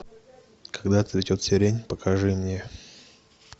когда цветет сирень покажи мне